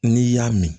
N'i y'a mɛn